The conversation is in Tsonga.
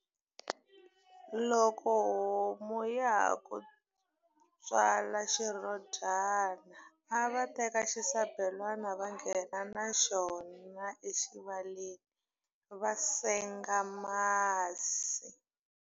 Loko homu ya ha ku tswala xirhodyana, a va teka xisabelana va nghena na xona exivaleni, va senga masi.